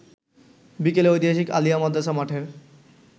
বিকেলে ঐতিহাসিক আলিয়া মাদ্রাসা মাঠের